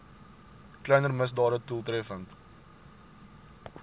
kleiner misdade doeltreffend